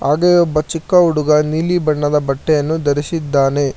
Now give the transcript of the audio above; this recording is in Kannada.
ಹಾಗೆ ಒಬ್ಬ ಚಿಕ್ಕ ಹುಡುಗ ನೀಲಿ ಬಣ್ಣದ ಬಟ್ಟೆಯನ್ನು ಧರಿಸಿದ್ದಾನೆ